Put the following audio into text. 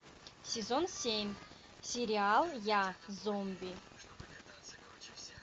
сезон семь сериал я зомби